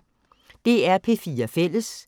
DR P4 Fælles